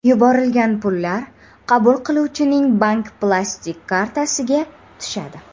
Yuborilgan pullar qabul qiluvchining bank plastik kartasiga tushadi.